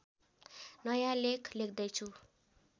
नयाँ लेख लेख्दैछु